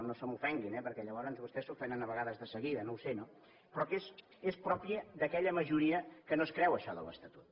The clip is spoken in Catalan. no se m’ofenguin eh perquè llavors vostès s’ofenen a vegades de seguida no ho sé però que és pròpia d’aquella majoria que no es creu això de l’estatut